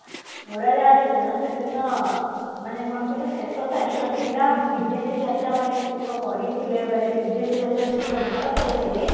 ଉଡାଜାହାଜ ଦିନ ସେ ଦିନ ମାନେ କଣ କହିଲା ଶେଷ ପରୀକ୍ଷା ଥିଲା ବିଦେଶୀ ଯାତ୍ରା ମାନେ କେତେକ କରିଥିଲେ ମାନେ ବିଦେଶୀ ଯାତ୍ରା ଯେତେକ ଭଲ ପାଉଥିଲେ